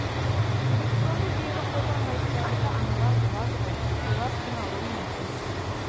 электронды жүйені қолданбайтын ата аналар болады ғой солар қиналуы мүмкін